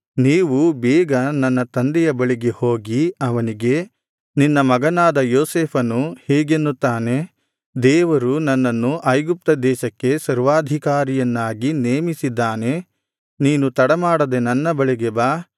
ನೀವು ಬೇಗ ನನ್ನ ತಂದೆಯ ಬಳಿಗೆ ಹೋಗಿ ಅವನಿಗೆ ನಿನ್ನ ಮಗನಾದ ಯೋಸೇಫನು ಹೀಗೆನ್ನುತ್ತಾನೆ ದೇವರು ನನ್ನನ್ನು ಐಗುಪ್ತ ದೇಶಕ್ಕೆ ಸರ್ವಾಧಿಕಾರಿಯನ್ನಾಗಿ ನೇಮಿಸಿದ್ದಾನೆ ನೀನು ತಡಮಾಡದೆ ನನ್ನ ಬಳಿಗೆ ಬಾ